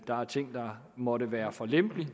der er ting der måtte være for lempelige